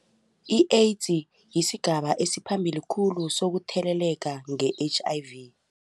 I-AIDS yisigaba esiphambili khulu sokutheleleka nge-H_I_V.